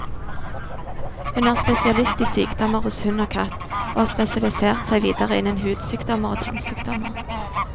Hun er spesialist i sykdommer hos hund og katt, og har spesialisert seg videre innen hudsykdommer og tannsykdommer.